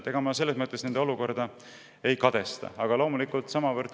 Selles mõttes ma olukorda ei kadesta.